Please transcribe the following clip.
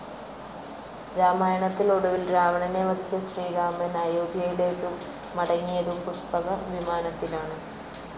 രാമായണത്തിൽ ഒടുവിൽ രാവണനെ വധിച്ച ശ്രീരാമൻ അയോധ്യയിലേക്ക് മടങ്ങിയതും പുഷ്പകവിമാനത്തിലാണ്.